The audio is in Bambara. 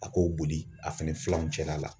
A k'o boli a fɛnɛ filaw cɛla la.